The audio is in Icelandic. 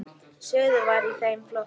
Suður var í þeim flokki.